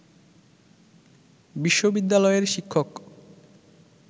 বিশ্ববিদ্যালয়ের শিক্ষক